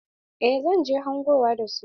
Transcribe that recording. Eh zan je hangowa da su.